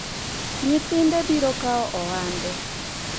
nyithinde biro kawo ohande